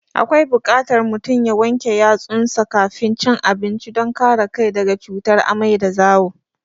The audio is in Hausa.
Akwai buƙatar mutum ya wanke yatsunsa kafin cin abinci don kare kai daga cutar amai da zawo.